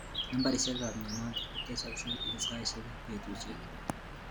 Nambarishek ab mnyenotok kotesaksei eng saishek ak betushek.